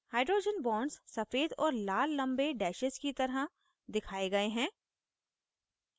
hydrogen bonds सफ़ेद और लाल लम्बे डैशेज़ की तरह दिखाए गए हैं